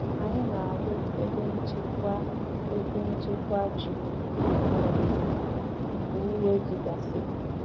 Anyị na-arụ ebe nchekwa ebe nchekwa ji mgbe owuwe ji gasịrị.